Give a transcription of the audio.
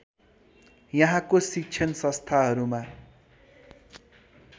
यहाँको शिक्षण संस्थाहरूमा